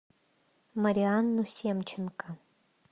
марианну семченко